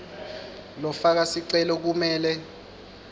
lofaka sicelo kumele